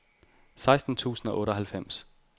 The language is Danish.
seksten tusind og otteoghalvfems